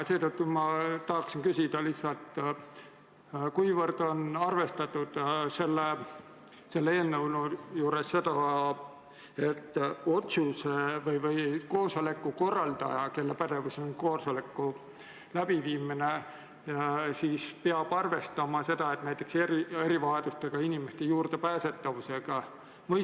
Seetõttu ma tahan küsida lihtsalt: mil määral on arvestatud selle eelnõu puhul seda, et koosoleku korraldaja, kelle pädevuses on koosoleku läbiviimine, peab arvestama erivajadustega inimeste juurdepääsetavusega?